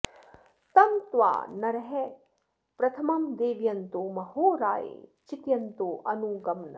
तं त्वा॒ नरः॑ प्रथ॒मं दे॑व॒यन्तो॑ म॒हो रा॒ये चि॒तय॑न्तो॒ अनु॑ ग्मन्